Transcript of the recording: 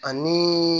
Ani